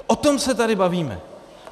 O tom se tady bavíme.